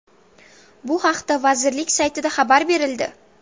Bu haqda vazirlik saytida xabar berildi .